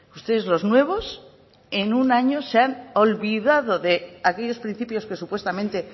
ustedes los nuevos en un año se han olvidado de aquellos principios que supuestamente